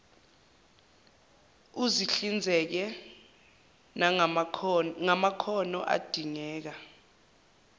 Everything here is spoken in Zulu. uzihlinzeke ngamakhono adingeka